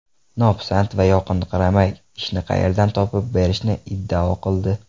Nopisand va yoqinqiramay, ishni qayerdan topib berishini iddao qildi.